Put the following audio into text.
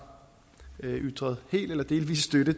ytret helt eller delvis støtte